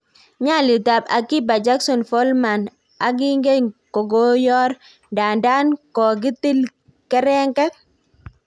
Nyalitap akiba jackson Follmann aginge kokoyor ndadan kokitil kerenget.